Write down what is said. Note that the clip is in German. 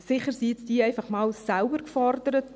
Sicher sind die jetzt einmal selbst gefordert.